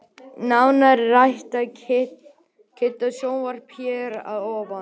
Nánar er rætt við Kidda í sjónvarpinu hér að ofan.